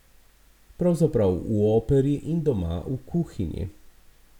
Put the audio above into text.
Pravzaprav v operi in doma v kuhinji.